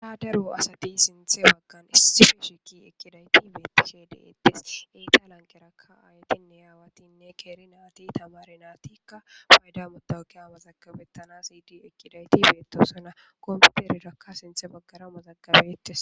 ha daru asati sinthe baggan issifeshiki ekkiday tibeetise deeettes iitaalan keraka aayatinne aawatinne keeri naati tamari naatikka payda motawakke ama zakabettana siydi ekkiday tibeetosana kompperirakka sinthe baggara mazaggabettes